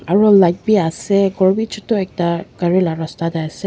aro light bi ase ghor bi chutu ekta gari la rasta tae ase.